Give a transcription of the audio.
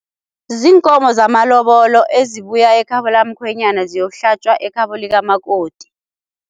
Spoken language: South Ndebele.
Ziinkomo zamalobolo ezibuya ekhabo lakamkhwenyana ziyokuhlatjwa ekhabo likamakoti.